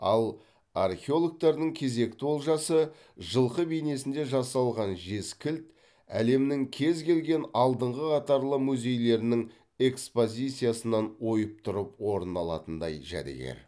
ал археологтардың кезекті олжасы жылқы бейнесінде жасалған жез кілт әлемнің кез келген алдыңғы қатарлы музейлерінің экспозициясынан ойып тұрып орын алатындай жәдігер